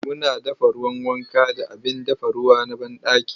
Muna dafa ruwan wanka da abin dafa ruwa na banɗaki.